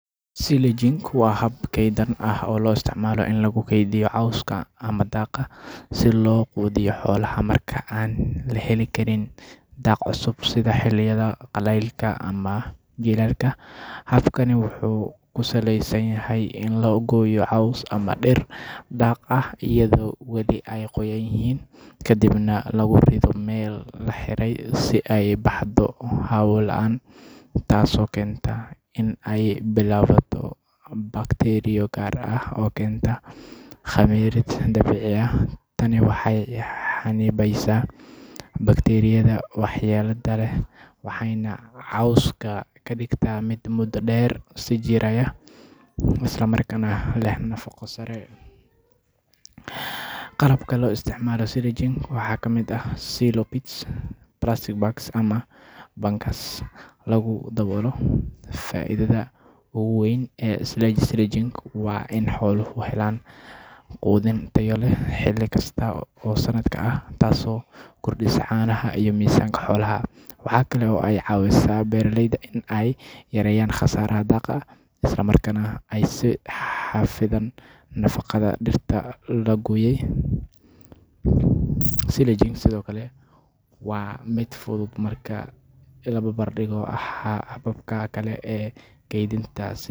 Silaging waa hab kaydin ah oo loo isticmaalo in lagu keydiyo cawska ama daaqa si loo quudiyo xoolaha marka aan la heli karin daaq cusub, sida xilliyada qalaylka ama jiilaalka. Habkani wuxuu ku saleysan yahay in la gooyo caws ama dhir daaq ah iyadoo weli ay qoyan yihiin, kadibna lagu rito meel la xiray si ay u baxdo hawo la’aan, taasoo keenta in ay bilaabato bakteeriyo gaar ah oo keenta khamiirid dabiici ah. Tani waxay xannibaysaa bakteeriyada waxyeellada leh waxayna cawska ka dhigtaa mid muddo dheer sii jiraya isla markaana leh nafaqo sare. Qalabka loo isticmaalo silaging waxaa kamid ah silo pits, plastic bags, ama bunkers lagu daboolo. Faa'iidada ugu weyn ee silaging waa in xooluhu helaan quudin tayo leh xilli kasta oo sanadka ah, taasoo kordhisa caanaha iyo miisaanka xoolaha. Waxa kale oo ay ka caawisaa beeraleyda in ay yareeyaan khasaaraha daaqa, isla markaana ay sii xafidaan nafaqada dhirta la gooyey. Silaging sidoo kale waa mid fudud marka la barbardhigo hababka kale ee kaydinta sida.